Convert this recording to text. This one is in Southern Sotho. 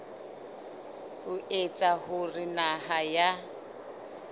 ho etsa hore naha ya